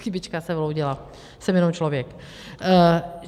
Chybička se vloudila, jsem jenom člověk.